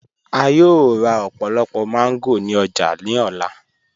A yòò rá ọ̀pọ̀lọ̀pọ̀ mango ni ọ̀jà ni ọlá.